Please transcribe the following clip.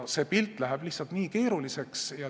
See pilt läheb lihtsalt nii keeruliseks.